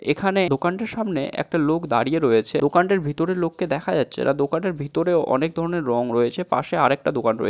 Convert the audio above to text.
এখানে দোকানটির সামনে একটা লোক দাঁড়িয়ে রয়েছে দোকানটির ভিতরে লোককে দেখা যাচ্ছে না দোকানের ভিতরে অনেক ধরনের রং রয়েছে পাশে আরেকটা দোকান রয়ে--